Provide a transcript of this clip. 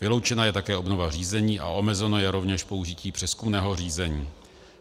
Vyloučena je také obnova řízení a omezeno je rovněž použití přezkumného řízení.